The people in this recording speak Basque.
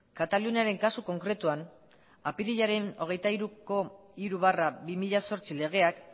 kataluniaren kasu konkretuan apirilaren hogeita hiruko hiru barra bi mila zortzi legeak